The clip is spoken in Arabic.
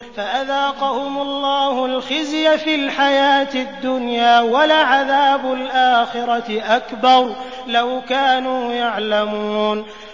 فَأَذَاقَهُمُ اللَّهُ الْخِزْيَ فِي الْحَيَاةِ الدُّنْيَا ۖ وَلَعَذَابُ الْآخِرَةِ أَكْبَرُ ۚ لَوْ كَانُوا يَعْلَمُونَ